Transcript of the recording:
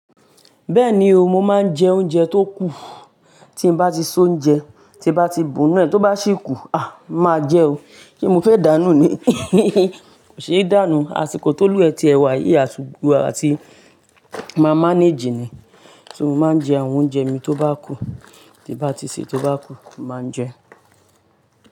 Bẹ́ẹ̀ni o, mo máa ń jẹ oúnjẹ tó kù. Tí mo bá ti sóúnjẹ, tí bá ti bù nu ẹ́, tó bá sì kú, a! Màá jẹ o. Se mo fẹ́ dànù ni? Kò se dánu. Àsìkò tó lú wa ẹ tí ẹ wà yii, asiko à ti mà mánéèjì ni. Mo máa ń jẹ àwọn oúnjẹ mi tó bá kù, tí n bá ti se, tó bá kù, mo màá jẹ ẹ́.